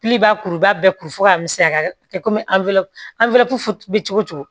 b'a kuruba bɛɛ kuru fɔ ka misɛnya a bɛ kɛ komi cogo o cogo